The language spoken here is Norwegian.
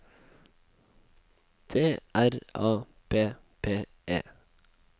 T R A P P E